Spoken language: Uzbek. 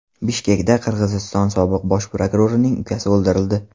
Bishkekda Qirg‘iziston sobiq bosh prokurorining ukasi o‘ldirildi.